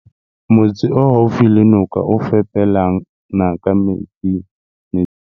Motse o haufi le noka e fepelang ka metsi.